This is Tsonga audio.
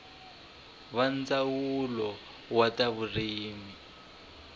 va ndzawulo wa ta vurimi